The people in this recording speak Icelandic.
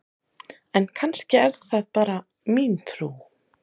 en kannski er það bara mín trú!